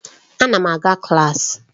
Ana m aga klaasị.